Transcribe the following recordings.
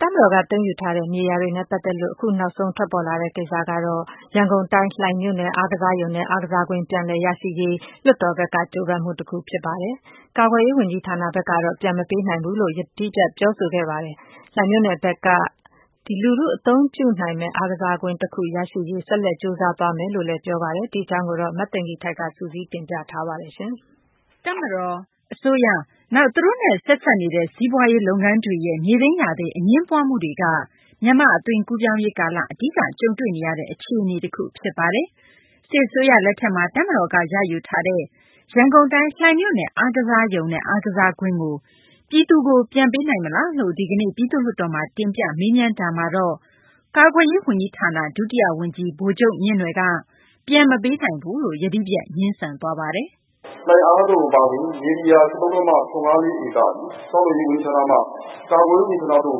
တပ်မတော်က သိမ်းယူထားတဲ့ မြေယာတွေနဲ့ ပတ်သက်လို့ အခုနောက်ဆုံး ထွက်ပေါ်လာတဲ့ ကိစ္စကတော့ ရန်ကုန်တိုင်း လှိုင်မြို့နယ် အားကစားရုံနဲ့ အားကစားကွင်း ပြန်လည်ရရှိရေး လွှတ်တော်ဘက်က ကြိုးပမ်းမှု တခု ဖြစ်ပါတယ်။ ကာကွယ်ရေး ဝန်ကြီးဌာနဘက်ကတော့ ပြန်မပေးနိုင်ဘူးလို့ ယတိပြတ် ပြောဆိုခဲ့ပါတယ်။ လှိုင်မြို့နယ်ဘက်ကတော့ လူထု အသုံးပြုနိုင်မယ့် အားကစားကွင်း တခု ရရှိရေး ဆက်လက် ကြိုးစားသွားမယ်လို့ ပြောဆိုပါတယ်။ မသိင်္ဂ ီထိုက် စုစည်းတင်ပြထားပါတယ်။ တပ်မတော်၊ အစိုးရ နောက် သူတို့နဲ့ ဆက်စပ်နေတဲ့ စီးပွားရေး လုပ်ငန်းတွေရဲ့ မြေသိမ်းယာသိမ်း အငြင်းပွားမှုတွေက မြန်မာ့ အသွင်ကူးပြောင်းရေး ကာလ အဓိက ကြုံတွေ့နေရတဲ့ အခြေအနေ တခု ဖြစ်ပါတယ်။ စစ်အစိုးရ လက်ထက်မှာ တပ်မတော်က ရယူထားတဲ့ ရန်ကုန်တိုင်း လှိုင်မြို့နယ် အားကစားရုံနဲ့ အားကစားကွင်းကို ပြည်သူကို ပြန်ပေးနိုင်မလားလို့ ဒီကနေ့ ပြည်သူ့လွှတ်တော်မှာ တင်ပြ မေးမြန်းတာမှာတော့ ကာကွယ်ရေး ဝန်ကြီးဌာန ဒုတိယ ဝန်ကြီး ဗိုလ်ချုပ် မြင့်နွယ်က မပေးနိုင်ဘူးလို့ ယတိပြတ် ငြင်းဆန်သွားပါတယ်။ “လှိုင်အားကစားရုံ အပါအဝင် မြေနေရာ ၁၃.၇၅၄ ဧကသည် ဆောက်လုပ်ရေး ဝန်ကြီးဌာနမှ ကာကွယ်ရေး ဝန်ကြီးဌာနသို့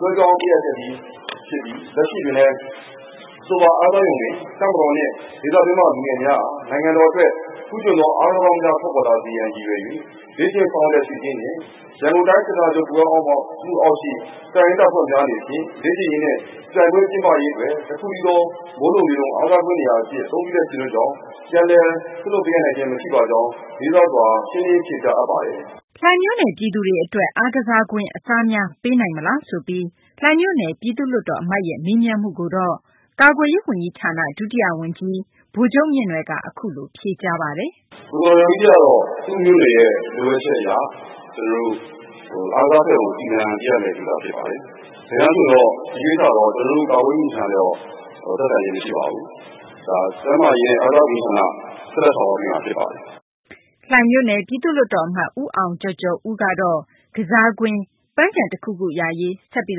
လွဲပြောင်း ပေးအပ်ခဲ့ပြီး ဖြစ်ပြီး လက်ရှိတွင်လည်း အဆိုပါ အားကစားရုံတွင် တပ်မတော်နှင့် ဒေသအတွင်းမှ လူငယ်များ နိုင်ငံတော်အတွက် ထူးချွန်သော အားကစားသမားကောင်းများ ထွက်ပေါ်လာစေရေး အတွက် ရည်ရွယ်ပြီး လေ့ကျင့်ဆောင်ရွက်လျက် ရှိခြင်းနှင့် ရန်ကုန်တိုင်း စစ်ဌာနချုပ် အောက်ရှိ တပ်ရင်းတပ်ဖွဲ့များ အနေဖြင့် လေ့ကျင့်ရေးနှင့် ပြိုင်ပွဲကျင်းပရေး အတွက် တခုတည်းသော မိုးလုံလေလုံ အားကစားကွင်း နေရာအဖြစ် အသုံးပြုလျက် ရှိသောကြောင့် ပြန်လည် စွန့်လွှတ် ပေးအပ်နိုင်ခြင်း မရှိပါကြောင်း လေးစားစွာ ရှင်းလင်း ဖြေကြားအပ်ပါတယ်။” လှိုင်မြို့နယ် ပြည်သူတွေ အတွက် အားကစားကွင်း အစားများ ပေးနိုင်မလားဆိုပြီး လှိုင်မြို့နယ် ပြည်သူ့လွှတ်တော် အမတ်ရဲ့ မေးမြန်းမှုကိုတော့ ကာကွယ်ရေး ဝန်ကြီးဌာန ဒုတိယ ဝန်ကြီး ဗိုလ်ချုပ် မြင့်နွယ်က အခုလို ဖြေကြားခဲ့ပါတယ်။ “ကိုယ်စားလှယ်တော်ကြီး ကတော့ သူ့မြို့နယ်ရဲ့ လိုအပ်ချက်အရ အားကစားရုံ စီမံပေးရမှာ ဖြစ်ပါတယ်။ တကယ်တန်း ဆိုရင်တော့ ဒီကိစ္စကို ကာကွယ်ရေး ဝန်ကြီးဌာနနဲ့ သက်ဆိုင်ခြင်း မရှိပါဘူး။ ဒါက ကျန်းမာရေးနဲ့ အားကစားဝန်ကြီးဌာန ဆက်လက်ဆောင်ရွက်ပေးမှာ ဖြစ်ပါတယ်။” လှိုင်မြို့နယ် ပြည်သူ့လွှတ်တော် အမတ် ဦးအောင်ကျော်ကျော်ဦးကတော့ အားကစားကွင်း၊ ပန်းခြံ တခုခု ရရေး ဆက်ပြီး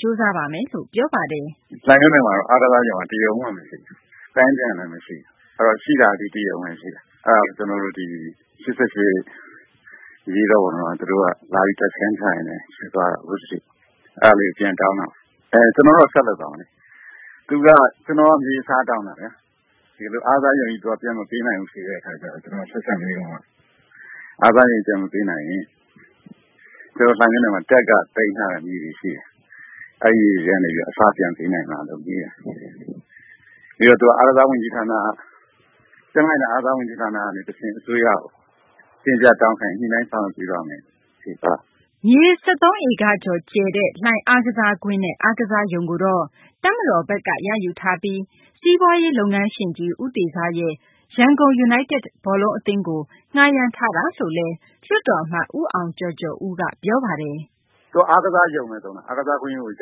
ကြိုးစားပါမယ်လို့ ပြောပါတယ်။ “လှိုင်မြို့နယ်မှာက အားကစားရုံက တရုံမှမရှိဘူး။ ပန်းခြံလည်းမရှိဘူး။ ရှိတာကလည်း ဒီတရုံပဲရှိတယ်။ အဲဒါကို ၈၈ အရေးတော်ပုံတုန်းက လာပြီး တပ်စခန်းထိုင်တယ်။ ယူသွားတာအခုအထိ။ အဲဒါလေးကို ပြန်တောင်းတာ။ ကျနော်တို့ကတော့ ဆက်လုပ်သွားမယ်။ ကျနော်က မြေအစားတောင်းတာ။ ဒီလိုအားကစားရုံကြီးကို ပြန်မပေးနိုင်ဘူး ဖြေတဲ့အခါကျတော့ ကျနော်က ဆက်စပ်မေးတော့ အားကစားရုံကြီး ပြန်မပေးနိုင်ဘူးဆိုရင် ကျနော်တို့ လှိုင်မြို့နယ်မှာ တပ်က သိမ်းထားတဲ့ မြေတွေရှိတယ်။ အဲဒီအထဲက နေပြီးတော့ အစား ပြန်ပေးနိုင်မလား ဆိုပြီးတော့ မေးတယ် ။ မေးတော့ သူက ကျန်းမာရေးနဲ့ အားကစားဝန်ကြီးဌာန ကနေ အစိုးရကို တင်ပြတောင်းခံရင် ညှိနှိုင်း ဆောင်ရွက်ပေးပါ့မယ်လို့ ဖြေသွားတယ်။” မြေ ၁၃ ဧကကျော် အကျယ်ရှိတဲ့ လှိုင်အားကစားကွင်းနဲ့ အားကစားရုံကိုတော့ တပ်မတော်ဘက်က ရယူထားပြီး စီးပွားရေး လုပ်ငန်းရှင်ကြီး ဦးတေဇရဲ့ ရန်ကုန် ယူနိုက်တက် ဘောလုံးအသင်းကို ငှားယမ်းထားတယ်လို့လည်း လွှတ်တော် အမတ် ဦးအောင်ကျော်ကျော်က ပြောတာပါ။ “သူက အားကစားရုံပဲ သုံးတယ်။ အားကစားကွင်းကို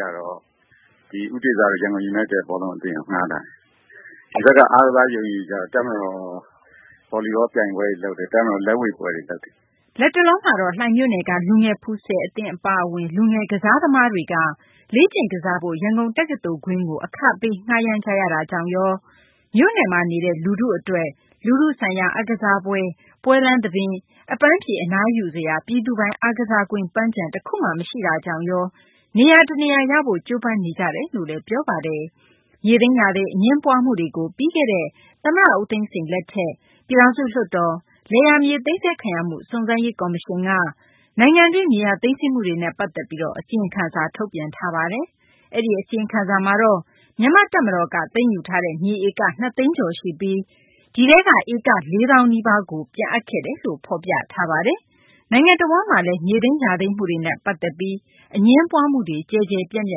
တော့ ဒီ ဦးတေဇတို့ ရန်ကုန် ယူနိုက်တက် ဘောလုံးအသင်းကို ငှားထားတယ်။ ဒီဘက်က အားကစားရုံကိုတော့ တပ်မတော် ဘော်လီဘော ပြိုင်ပွဲတွေ လုပ်တယ်။ တပ်မတော် လက်ဝှေ့ပွဲတွေ လုပ်တယ်။” လက်တလောမှာတော့ လှိုင်မြို့နယ်က လူငယ် ဖူဆယ် အသင်း အပါအဝင် အားကစား သမားတွေက လေ့ကျင့် ကစားဖို့ ရန်ကုန်တက္ကသိုလ်ကွင်းကို အခပေး ငှားယမ်းကြရတာကြောင့်ရော မြို့နယ်နေ လူထု အတွက် လူထုဆိုင်ရာ အားကစားပွဲ ပွဲလမ်းသဘင် အပန်းဖြေ အနားယူစရာ ပြည်သူပိုင် အားကစားကွင်း၊ ပန်းခြံ တခုမှ မရှိတာကြောင့်ရော နေရာတနေရာ ရရေး ကြိုးပမ်းနေကြတယ်လို့လည်း ပြောပါတယ်။ မြေသိမ်းယာသိမ်း အငြင်းပွားမှုတွေကို ပြီးခဲ့တဲ့ သမ္မတ ဦးသိန်းစိန် လက်ထက်၊ ပြည်ထောင်စုလွှတ်တော်၊ လယ်ယာမြေ သိမ်းဆည်းခံရမှုစုံစမ်းရေးကော်မရှင်က နိုင်ငံတွင်း မြေယာ သိမ်းဆည်းမှုတွေနဲ့ ပတ်သက်ပြီး အစီရင်ခံစာ ထုတ်ပြန်ခဲ့ပါတယ်။ အဲဒီအစီရင်ခံစာမှာတော့ မြန်မာ တပ်မတော်က သိမ်းယူထားတဲ့ မြေဧက ၂ သိန်းကျော် ရှိပြီး ဒီထဲက ဧက ၄ သောင်း နီးပါးကိုသာ ပြန်အပ်ခဲ့တယ်လို့ ဖော်ပြထားပါတယ်။ နိုင်ငံတဝန်းမှာလည်း မြေသိမ်းယာသိမ်းမှုတွေနဲ့ပတ်သက်ပြီး အငြင်းပွားမှုတွေ ကျယ်ကျယ်ပြန့်ပြ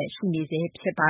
န့် ရှိနေဆဲ ဖြစ်ပါ